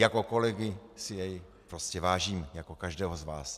Jako kolegy si jej prostě vážím, jako každého z vás.